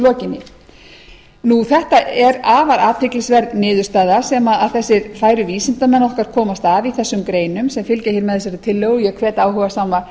lokinni þetta er afar athyglisverð niðurstaða sem þessir færu vísindamenn okkar komast að í þessum greinum sem fylgja hér með þessari tillögu og ég hvet áhugasama